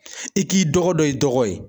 I k'i dɔgɔ dɔn, i dɔgɔ ye.